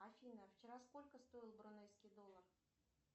афина вчера сколько стоил брунейский доллар